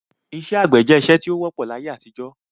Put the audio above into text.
Isẹ́ àgbẹ̀ je isẹ́ ti o wọ́pọ̀ láyé-àtijọ́